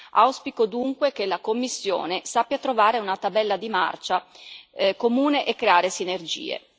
Auspico, dunque, che la Commissione sappia trovare una tabella di marcia comune e creare sinergie.